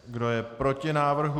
Kdo je proti návrhu?